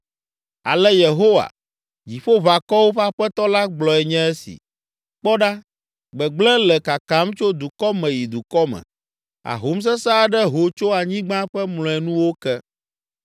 Ale Yehowa, Dziƒoʋakɔwo ƒe Aƒetɔ la gblɔe nye esi: “Kpɔ ɖa, gbegblẽ le kakam tso dukɔ me yi dukɔ me. Ahom sesẽ aɖe ho tso anyigba ƒe mlɔenuwo ke.”